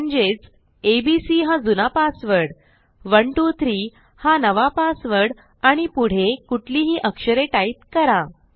म्हणजेच एबीसी हा जुना पासवर्ड 123 हा नवा पासवर्ड आणि पुढे कुठलीही अक्षरे टाईप करा